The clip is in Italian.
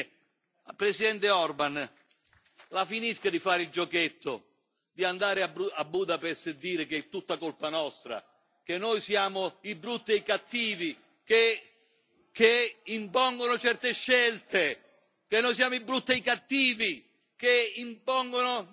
Infine, Presidente Orban, la finisca di fare il giochetto di andare a Budapest e dire che è tutta colpa nostra, che noi siamo i brutti e i cattivi che impongono certe scelte, che noi siamo i brutti e i cattivi che impongono.